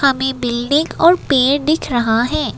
हमें बिल्डिंग और पेड़ दिख रहा है।